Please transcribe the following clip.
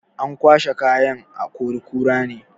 An kwashai kayan a akori-kura ne.